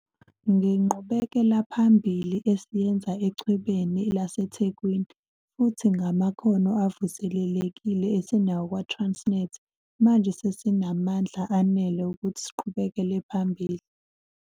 Ngenqubekelaphambili esiyenze Echwebeni laseThekwini, futhi ngamakhono avuselelekile esinawo kwaTransnet, manje sesinamandla anele ukuthi siqhubekele phambili.